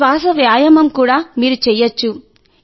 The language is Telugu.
శ్వాస వ్యాయామం కూడా మీరు చేయవచ్చు